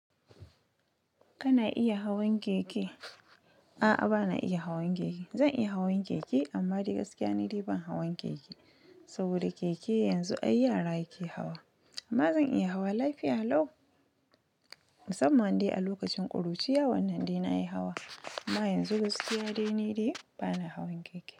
Kana iya hawan keke? A'a, ba na iya hawan keke. Zan iya hawan keke amma dagaskiya ni dai ban hawan keke. Saboda keke yanzu ai yara ke hawa. Amma zan iya hawa lafiya lau. Musamman dai a lokacin ƙuruciya, wannan dai na yi hawa. Amma yanzu gaskiya dai ni dai bana hawan keke.